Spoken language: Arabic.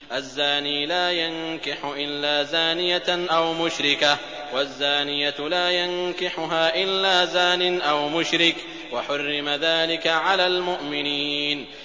الزَّانِي لَا يَنكِحُ إِلَّا زَانِيَةً أَوْ مُشْرِكَةً وَالزَّانِيَةُ لَا يَنكِحُهَا إِلَّا زَانٍ أَوْ مُشْرِكٌ ۚ وَحُرِّمَ ذَٰلِكَ عَلَى الْمُؤْمِنِينَ